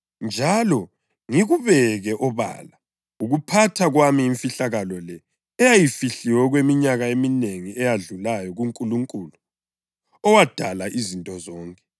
njalo ngikubeke obala ukuphatha kwami imfihlakalo le eyayifihliwe okweminyaka eminengi eyedlulayo kuNkulunkulu, owadala izinto zonke.